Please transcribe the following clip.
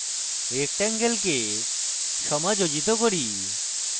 rectangle কে সমাযোজিত করি